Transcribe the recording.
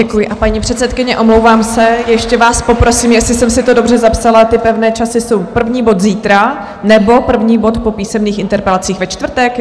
Děkuji, a paní předsedkyně, omlouvám se, ještě vás poprosím, jestli jsem si to dobře zapsala, ty pevné časy jsou - první bod zítra nebo první bod po písemných interpelacích ve čtvrtek?